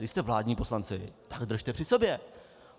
Když jste vládní poslanci, tak držte při sobě!